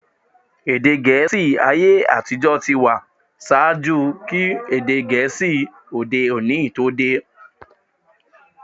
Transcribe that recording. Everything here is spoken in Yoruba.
Èdè Gẹ̀ẹ́sì ayé-àtijọ́ ti wà ṣaájú kí èdè Gẹ̀ẹ́sì ti òde-òní tó dé.